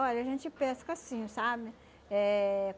Olha, a gente pesca assim, sabe? Eh